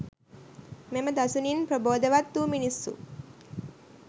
මෙම දසුනින් ප්‍රබෝධවත් වූ මිනිස්සු